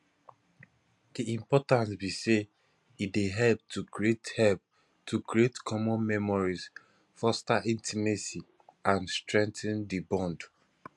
di importance be say e dey help to create help to create common memories foster intimacy and strengthen di bond